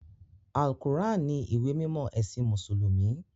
Al-Qur'an ni ìwé mímọ́ ẹ̀sìn Mùsùlùmí.